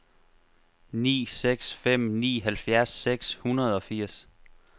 ni seks fem ni halvfjerds seks hundrede og firs